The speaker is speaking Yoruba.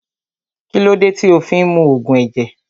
Kílódé tí o fí ń mu Ògùn ẹ̀jẹ̀